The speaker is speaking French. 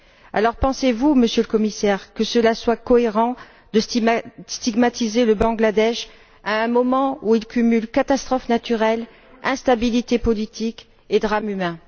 Alors pensez vous, Monsieur le Commissaire, qu'il soit cohérent de stigmatiser le Bangladesh à un moment où il cumule catastrophes naturelles, instabilité politique et drames humains?